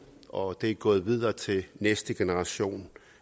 og det er gået videre til næste generation